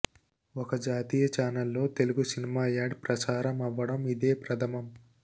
ఒక జాతీయ ఛానెల్లో తెలుగు సినిమా యాడ్ ప్రసారం అవ్వడం ఇదే ప్రథమం